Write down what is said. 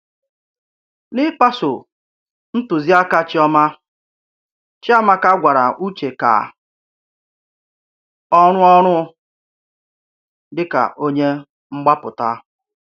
N’ị̀gbàsò ntùzíàkà Chíọmà, Chíàmákà gwárà Ụ̀chè ka ọ rụọ ọrụ dị̀ka ònyé mgbápụtà.